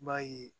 I b'a ye